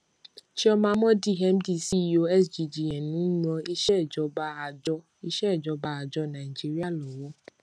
chioma mordi mdceo sggn n ran ìsèjọba àjọ ìsèjọba àjọ nàìjíríà lọwọ